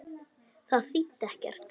Þetta þýddi ekkert.